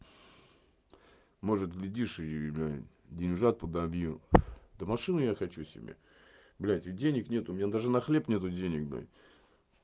может глядишь и деньжат подобью та машину я хочу себе блять и денег нету у меня даже на хлеб нет денег блядь